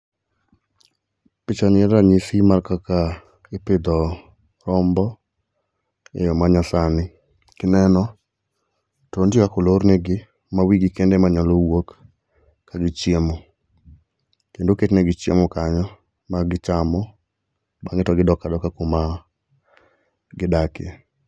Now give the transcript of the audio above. Pichani en ranyisi mar kaka ipidho rombo e yoo manyasani. Kineno, to ntie kaka olornegi mawigi kende ema nyalo wuok kagichiemo. Kendo oketnegi chiemo kanyo magichamo, bang'e to gidok adoka kuma gidakie.